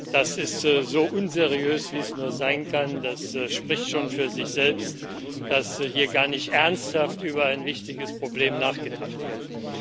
Das ist so unseriös, wie es nur sein kann, das spricht schon für sich selbst, dass hier gar nicht ernsthaft über ein wichtiges Problem nachgedacht wird.